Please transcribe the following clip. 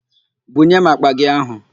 Bunye m àkpà gị áhụ̀!